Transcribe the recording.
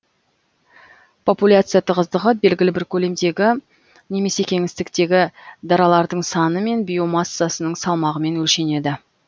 популяция тығыздығы белгілі бір көлемдегі немесе кеңістіктегі даралардың саны мен биомассасының салмағымен өлшенеді